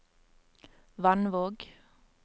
Vannvåg